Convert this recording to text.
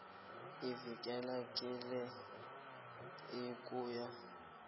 iveke yinye ukuya